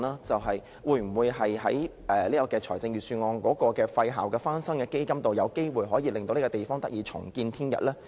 但是，我們當然寄望，在財政預算案的"廢校翻新基金"會令這個地方得以重見天日。